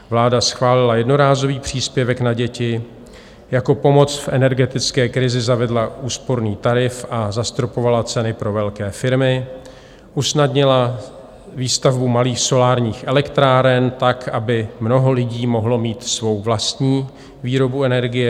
Vláda schválila jednorázový příspěvek na děti, jako pomoc v energetické krizi zavedla úsporný tarif a zastropovala ceny pro velké firmy, usnadnila výstavbu malých solárních elektráren, tak aby mnoho lidí mohlo mít svou vlastní výrobu energie.